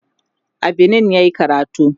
a Benin yayi karatu